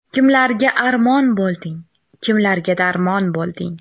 Kimlarga armon bo‘lding, Kimlarga darmon bo‘lding.